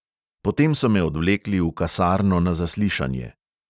Potem so me odvlekli v kasarno na zaslišanje.